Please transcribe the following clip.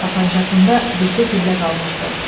Tapancasında bircə güllə qalmışdı.